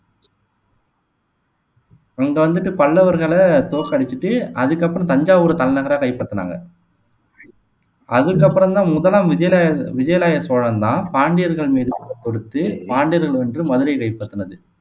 அங்க வந்துட்டு பல்லவர்களை தோற்கடிச்சிட்டு அதுக்கப்புறம் தஞ்சாவூர் தலைநகரை கைப்பற்றினாங்க அதுக்கு அப்புறம் தான் முதலாம் விஜயலாய விஜயலாய சோழன் தான் பாண்டியர்கள் மீது போர் தொடுத்து பாண்டியர்களை வென்று மதுரையை கைப்பற்றினது